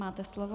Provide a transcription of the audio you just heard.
Máte slovo.